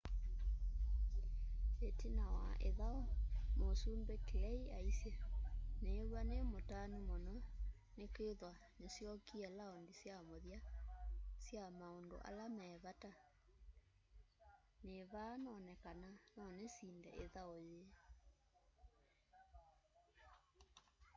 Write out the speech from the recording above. itina wa ithau musumbi clay aisye niiw'a nimutanu muno nikwithwa nisyokie laundi sya muthya sya maundu ala me vata nivaa none kana nonisinde ithau yii